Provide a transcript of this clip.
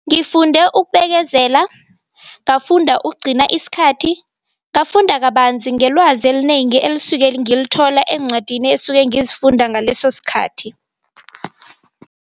Ngifunde ukubekezela, ngafunda ukugcina isikhathi, ngafunda kabanzi ngelwazi elinengi elisuke ngilithola eencwadini esuke ngizifunda ngaleso sikhathi.